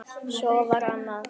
Svo var annað.